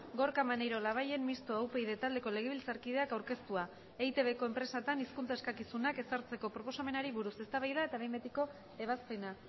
gorka maneiro labayen mistoa upyd taldeko legebiltzarkideak aurkeztua eitbko enpresetan hizkuntza eskakizunak ezartzeko proposamenari buruz eztabaida eta behin betiko ebazpena